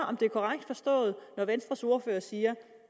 om det er korrekt forstået at venstres ordfører siger